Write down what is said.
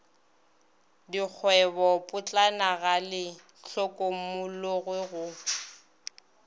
dikgwebopotlana ga le hlokomologwe go